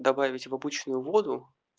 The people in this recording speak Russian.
добавить в обычную воду